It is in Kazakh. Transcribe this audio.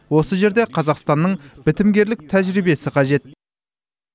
осы жерде қазақстанның бітімгерлік тәжірибесі қажет